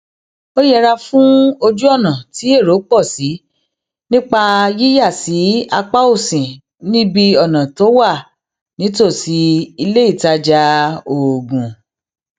ó yẹra fún ojúònà tí èrò pò sí nípa yíyà sí apá òsì níbi iná tó wà nítòsí iléìtajà oògùn